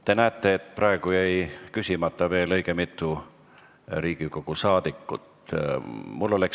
Te näete, et küsimus jäi esitamata õige mitmel Riigikogu liikmel.